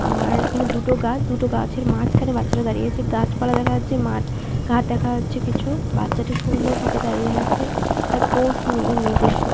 আর- এখানে দুটো গাছ দুটো গাছের মাঝখানে বাচ্চারা দাঁড়িয়ে আছে গাছপালা দেখা যাচ্ছে মাঠ ঘাট দেখা যাচ্ছে কিছু- উ- বাচ্চাটা সুন্দর ভাবে দাঁড়িয়ে আছে তার পোজ নিয়ে নিজস্ব--